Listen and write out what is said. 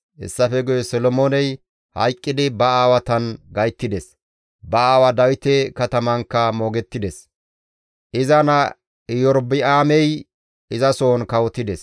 Hessafe guye Solomooney hayqqidi ba aawatan gayttides; ba aawaa Dawite katamankka moogettides. Iza naa Erobi7aamey izasohon kawotides.